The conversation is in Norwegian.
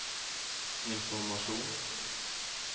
informasjon